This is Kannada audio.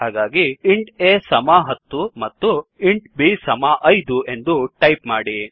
ಹಾಗಾಗಿ ಇಂಟ್ a ಸಮ 10 ಮತ್ತು ಇಂಟ್ b ಸಮ 5 ಎಂದು ಟೈಪ್ ಮಾಡಿ